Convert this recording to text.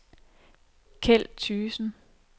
Kjeld Thygesen